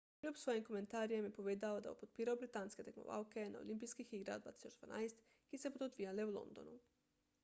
kljub svojim komentarjem je povedal da bo podpiral britanske tekmovalke na olimpijskih igrah 2012 ki se bodo odvijale v londonu